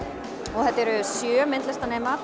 og þetta eru sjö